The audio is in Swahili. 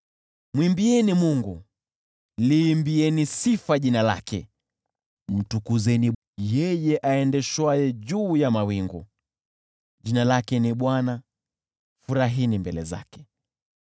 Mwimbieni Mungu, liimbieni sifa jina lake, mtukuzeni yeye aendeshwaye juu ya mawingu: jina lake ni Bwana , furahini mbele zake.